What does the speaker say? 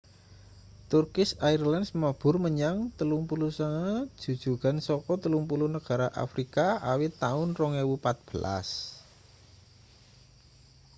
turkish airlines mabur menyang 39 jujugan saka 30 negara afrika awit taun 2014